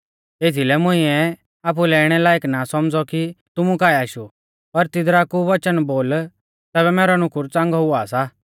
एथीलै मुंइऐ आपुलै इणै लायक ना सौमझ़ौ कि तुमु काऐ आशु पर तिदरा कु वच़न बोल तैबै मैरौ नुकुर च़ांगौ हुआ सा